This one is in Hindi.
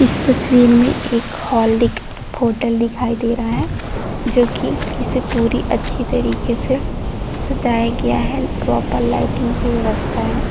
इस तस्वीर में एक हॉल दिख होटल दिखाए दे रहा है जो की इसे पूरी अच्छी तरीके से सजाया गया है प्रॉपर लाइटिंग की व्यवस्था है।